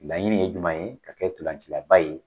Laɲini ye jumɛn ye, ka kɛ ntolancilaba ye.